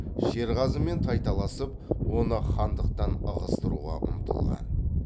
шерғазымен тайталасып оны хандықтан ығыстыруға ұмтылған